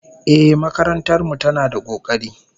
Ehh, makarantar mu tana da kokari